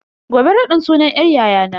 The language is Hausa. Gobe raɗin sunan yar yayana.